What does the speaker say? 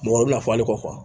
Mɔgɔ bɛna fɔ hali kɔ